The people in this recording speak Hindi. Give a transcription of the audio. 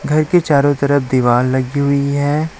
घर के चारों तरफ दीवार लगी हुई है।